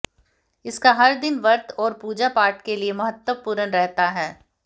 इसका हर दिन व्रत और पूजा पाठ के लिए महत्वपूर्ण रहता है